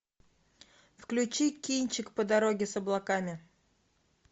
включи кинчик по дороге с облаками